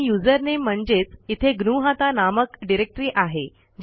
आणि यूझर नामे म्हणजेच इथे ग्नुहता नामक डिरेक्टरी आहे